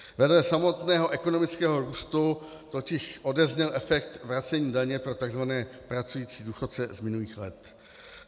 Vedle samotného ekonomického růstu totiž odezněl efekt vracení daně pro tzv. pracující důchodce z minulých let.